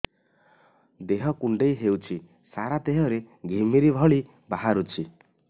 ଦେହ କୁଣ୍ଡେଇ ହେଉଛି ସାରା ଦେହ ରେ ଘିମିରି ଭଳି ବାହାରୁଛି